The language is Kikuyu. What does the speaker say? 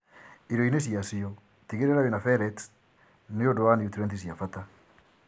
Irioinĩ ciacio, tigĩrĩra wĩna pellets nĩundũ wa niutrienti cia bata